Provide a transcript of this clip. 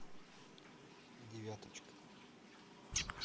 девяточка